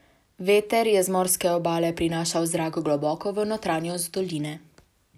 Veter je z morske obale prinašal zrak globoko v notranjost doline.